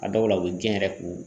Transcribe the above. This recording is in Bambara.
A dɔw la u bɛ jɛn yɛrɛ k'u